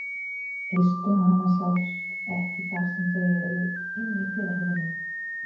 Eistu hana sjást ekki þar sem þau eru inni í kviðarholinu.